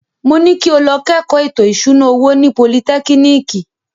Mo ní kí o lọ kẹ́kọ̀ọ́ ètò ìṣúná owó ní politẹ́kínìkì.